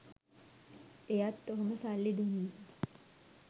එයත් ඔහොම සල්ලි දුන්නු